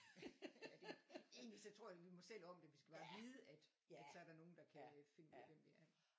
Ja det egentlig så tror jeg da vi må selv om det vi skal bare vide at at så er der nogle der kan finde ud af hvem vi er